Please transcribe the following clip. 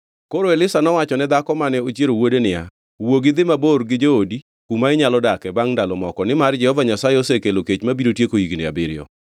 Koro Elisha nowachone dhako mane ochiero wuode niya, “Wuogi idhi mabor gi joodi kuma inyalo dake bangʼ ndalo moko, nimar Jehova Nyasaye osekelo kech ma biro tieko higni abiriyo.”